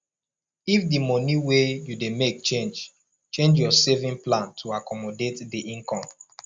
if di money wey you dey make change change your saving plan to accomodate di income